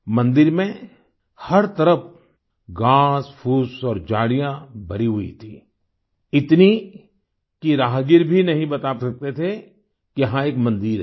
मंदिर में हर तरफ घासफूस और झाड़ियाँ भरी हुई थीं इतनी कि राहगीर भी नहीं बता सकते कि यहाँ एक मंदिर है